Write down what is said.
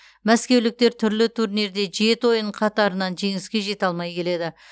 мәскеуліктер түрлі турнирде жеті ойын қатарынан жеңіске жете алмай келеді